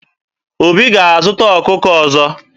Obi ga-azụta ọkụkọ ọzọ.